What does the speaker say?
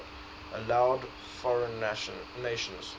allowed foreign nations